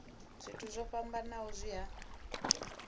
zwithu zwo fhambanaho zwi a